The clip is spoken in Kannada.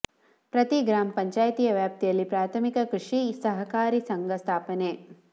ಪ್ರತಿ ಗ್ರಾಮ ಪಂಚಾಯಿತಿಯ ವ್ಯಾಪ್ತಿಯಲ್ಲಿ ಪ್ರಾಥಮಿಕ ಕೃಷಿ ಸಹಕಾರಿ ಸಂಘ ಸ್ಥಾಪನೆ